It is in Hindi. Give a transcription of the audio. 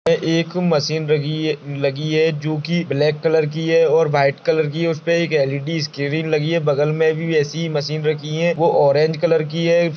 एक मशीन रगी है लगी है जो कि ब्लैक कलर की है और व्हाइट कलर की है उस पर एल_इ_डी स्क्रीन लगी है बगल में भी ऐसी मशीन रखी है वो ऑरेंज कलर की है।